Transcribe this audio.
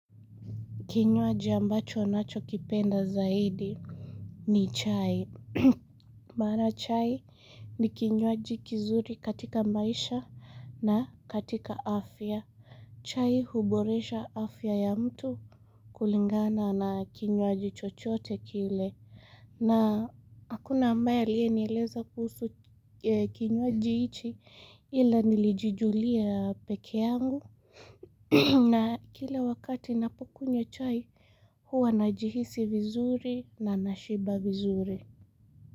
Kinywaji ambacho nachokipenda zaidi ni chai. Maana chai ni kinywaji kizuri katika maisha na katika afya. Chai huboresha afya ya mtu kulingana na kinywaji chochote kile. Na hakuna ambaye aliyenileza kuhusu kinywaji hichi ila nilijijulia peke yangu. Na kila wakati napokunywa chai, huwa na jihisi vizuri na nashiba vizuri.